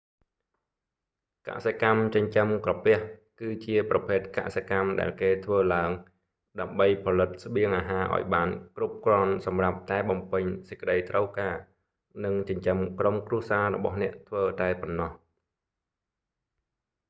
កសិកម្មចិញ្ចឹមក្រពះ គឺជាប្រភេទកសិកម្មដែលគេធ្វើឡើង ដើម្បីផលិតស្បៀងអាហារអោយបាន គ្រប់គ្រាន់ សម្រាប់តែបំពេញសេចក្តីត្រូវការ និងចិញ្ចឹមក្រុមគ្រួសាររបស់អ្នកធ្វើតែប៉ុណ្ណោះ